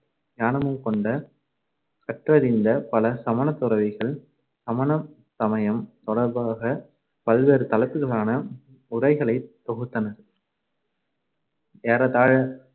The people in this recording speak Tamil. ஞானமும் கொண்ட கற்றறிந்த பல சமணத் துறவிகள் சமண சமயம் தொடர்பாகப் பல்வேறு தலைப்புகளான உரைகளைத் தொகுத்தனர் ஏறத்தாழ